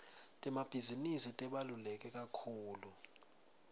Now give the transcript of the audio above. temabhizinisi tibalulekekakhulu